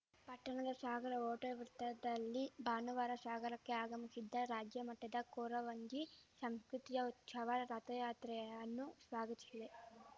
ಪಟ್ಟಣದ ಶಾಗರ ಹೋಟೆಲ್‌ ವೃತ್ತದಲ್ಲಿ ಭಾನುವಾರ ಶಾಗರಕ್ಕೆ ಆಗಮಿಶಿದ್ದ ರಾಜ್ಯಮಟ್ಟದ ಕೊರವಂಜಿ ಶಾಂಷ್ಕೃತಿಯ ಉತ್ಷವ ರಥಯಾತ್ರೆಯನ್ನು ಸ್ವಾಗತಿಸಿ